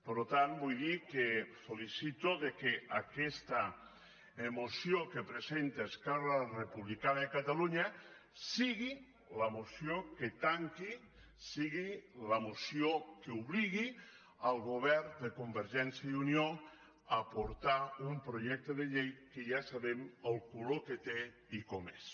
per tant vull dir que el felicito que aquesta moció que presenta esquerra republicana de catalunya sigui la moció que tanqui sigui la moció que obligui el govern de convergència i unió a portar un projecte de llei que ja sabem el color que té i com és